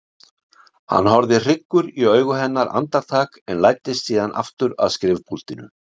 Hann horfði hryggur í augu hennar andartak en læddist síðan aftur að skrifpúltinu.